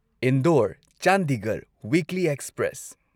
Indore Chandigarh weekly express